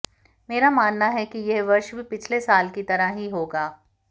मेरा मानना है कि यह वर्ष भी पिछले साल की तरह ही होगा